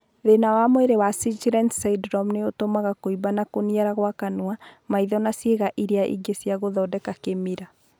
Thĩĩna wa mwĩrĩ wa sjgren's syndrome nĩ ũtũmaga kũimba na kũniara kwa kanua, maitho na ciĩga iria ingĩ cia gũthondeka kĩmira.